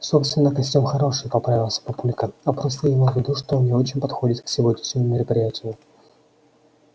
собственно костюм хороший поправился папулька а просто я имел в виду что он не очень подходит к сегодняшнему мероприятию